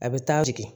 A bɛ taa jigin